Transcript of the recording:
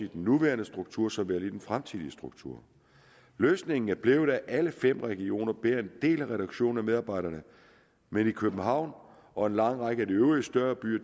den nuværende struktur som i den fremtidige struktur løsningen er blevet at alle fem regioner bærer en del af reduktionen af medarbejdere men københavn og en lang række af de øvrige større byer